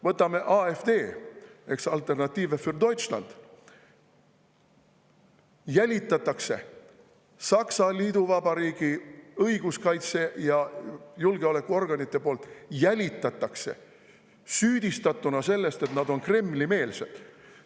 Võtame AfD, Alternative für Deutschland, keda jälitatakse – Saksa liiduvabariigi õiguskaitse- ja julgeolekuorganid jälgivad neid ja süüdistavad selles, et nad on Kremli‑meelsed.